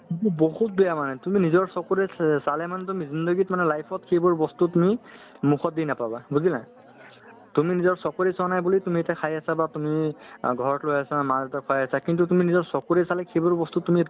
সেইটো বহুত বেয়া মানে তুমি নিজৰ চুকুৰে চ~ চালে মানে তুমি jindagi ত মানে life ত সেইবোৰ বস্তু তুমি মুখত দি নাপাবা বুজিলা তুমি নিজৰ চকুৰে চোৱা নাই বুলি তুমি এতিয়া খাই আছা বা তুমি অ ঘৰত লৈ আহিছা মা-দেউতাক খোৱাই আছা কিন্তু তুমি নিজৰ চকুৰে চালে সেইবোৰ বস্তু তুমি